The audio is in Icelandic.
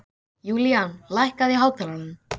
Julian, lækkaðu í hátalaranum.